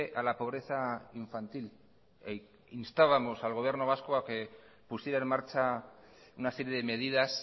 a la pobreza infantil e instábamos al gobierno vasco a que pusiera en marcha una serie de medidas